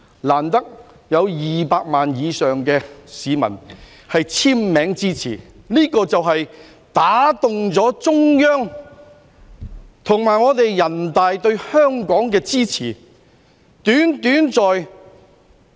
難得有200萬以上市民簽名支持，這就打動了中央和人大支持香港。